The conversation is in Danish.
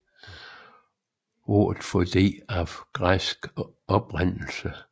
Ordet fobi er af græsk oprindelse